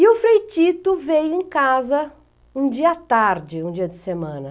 E o Frei Tito veio em casa um dia à tarde, um dia de semana.